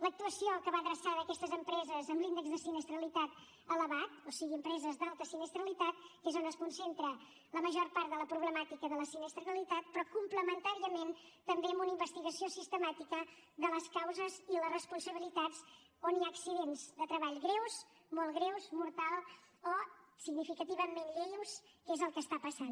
l’actuació que va adreçada a aquestes empreses amb l’índex de sinistralitat elevat o sigui empreses d’alta sinistralitat que és on es concentra la major part de la problemàtica de la sinistralitat però complementàriament també amb una investigació sistemàtica de les causes i les responsabilitats on hi ha accidents de treball greus molt greus mortals o significativament lleus que és el que està passant